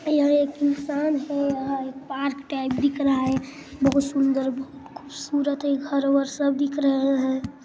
यह एक इंसान है यहाँ एक टाइप दिख रहा है बहुत सुन्दर बहुत खुबसूरत यह घर वर सब दिख रहे है।